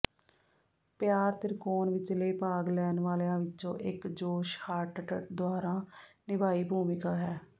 ਪਿਆਰ ਤ੍ਰਿਕੋਣ ਵਿਚਲੇ ਭਾਗ ਲੈਣ ਵਾਲਿਆਂ ਵਿੱਚੋਂ ਇੱਕ ਜੋਸ਼ ਹਾਰਟਟਟ ਦੁਆਰਾ ਨਿਭਾਈ ਭੂਮਿਕਾ ਹੈ